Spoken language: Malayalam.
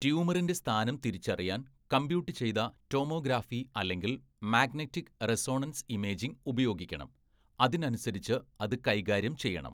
ട്യൂമറിൻ്റെ സ്ഥാനം തിരിച്ചറിയാൻ കമ്പ്യൂട്ട് ചെയ്ത ടോമോഗ്രാഫി അല്ലെങ്കിൽ മാഗ്നെറ്റിക് റെസൊണൻസ് ഇമേജിംഗ് ഉപയോഗിക്കണം, അതിനനുസരിച്ച് അത് കൈകാര്യം ചെയ്യണം.